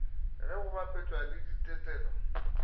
ge go bapetšwa le ditetelo